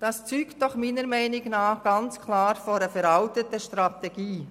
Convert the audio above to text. Das zeugt aus meiner Sicht ganz klar von einer veralteten Strategie.